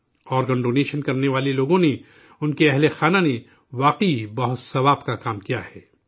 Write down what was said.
organ donation کرنے والے افراد نے، ان کی فیملی نے، واقعی بہت ثواب کا کام کیا ہے